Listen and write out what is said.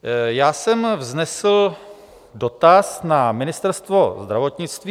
Já jsem vznesl dotaz na Ministerstvo zdravotnictví.